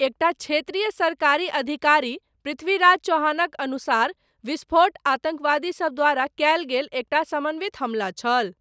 एकटा क्षेत्रीय सरकारी अधिकारी, पृथ्वीराज चव्हाणक अनुसार, विस्फोट, 'आतङ्कवादी सब द्वारा कयल गेल एकटा समन्वित हमला' छल।